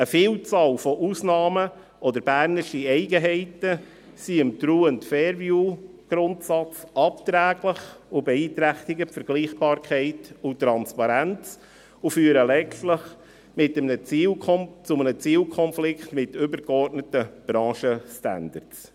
Eine Vielzahl von Ausnahmen oder bernische Eigenheiten sind dem True-and-fair-view-Grundsatz abträglich, beeinträchtigen die Vergleichbarkeit und die Transparenz und führen letztlich zu einem Zielkonflikt mit übergeordneten Branchenstandards.